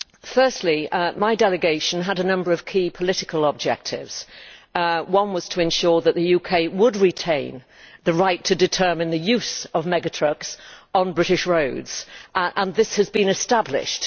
Firstly, my delegation had a number of key political objectives. One was to ensure that the UK would retain the right to determine the use of mega trucks on British roads. Just for clarification, this has been established.